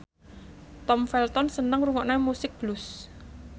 Tom Felton seneng ngrungokne musik blues